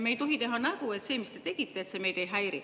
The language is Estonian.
" Me ei tohi teha nägu, et see, mis te tegite, meid ei häiri.